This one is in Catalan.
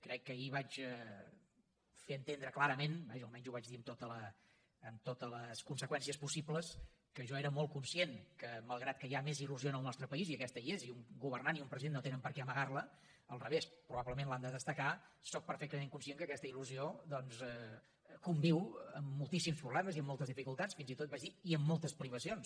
crec que ahir vaig fer entendre clarament vaja almenys ho vaig dir amb totes les conseqüències possibles que jo era molt conscient que malgrat que hi ha més il·lusió en el nostre país i aquesta hi és i un governant i un president no tenen per què amagar la al revés probablement l’han de destacar sóc perfectament conscient que aquesta ilmoltíssims problemes i amb moltes dificultats fins i tot vaig dir i amb moltes privacions